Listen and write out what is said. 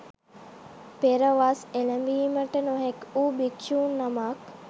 පෙර වස් එළැඹීමට නොහැකි වූ භික්ෂු නමක්